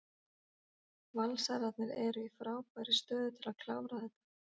Valsararnir eru í frábærri stöðu til að klára þetta.